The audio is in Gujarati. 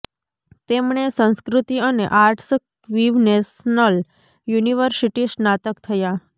તેમણે સંસ્કૃતિ અને આર્ટસ ક્વીવ નેશનલ યુનિવર્સિટી સ્નાતક થયા